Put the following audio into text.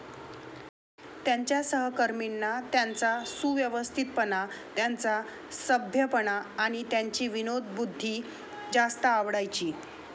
त्यांच्या सहकर्मींना, त्यांचा सुव्यवस्थितपणा, त्यांचा सभ्यपणा आणि त्यांची विनोदबुद्धी जास्त आवडायची.